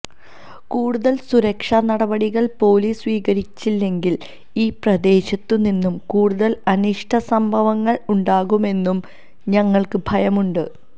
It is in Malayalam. കൂടുതൽ സുരക്ഷാ നടപടികൾ പൊലീസ് സ്വീകരിച്ചില്ലെങ്കിൽ ഈ പ്രദേശത്തു നിന്നും കൂടുതൽ അനിഷ്ട സംഭവങ്ങൾ ഉണ്ടാകുമെന്നു ഞങ്ങൾക്ക് ഭയമുണ്ട്